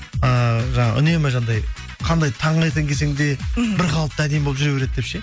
ыыы жаңа үнемі жаңағындай қандай таңертең келсең де мхм бір қалыпты әдемі болып жүре береді деп ше